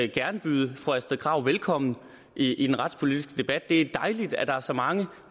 gerne byde fru astrid krag velkommen i den retspolitiske debat det er dejligt at der er så mange af